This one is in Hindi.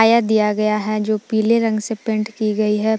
दिया गया है जो पीले रंग से पेंट की गई है ।